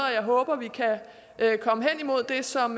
jeg håber vi kan komme hen imod det som